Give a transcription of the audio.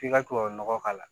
K'i ka tubabu nɔgɔ k'a la